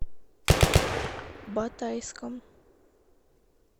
батайском